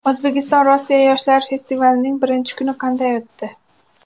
O‘zbekiston Rossiya yoshlar festivalining birinchi kuni qanday o‘tdi?